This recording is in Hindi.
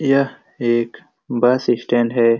यह एक बस स्टैंड है।